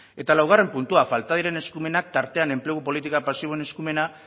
eta laugarren puntua falta diren eskumenak tartean enplegu politika pasiboen eskumena